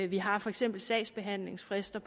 vi har for eksempel sagsbehandlingsfrister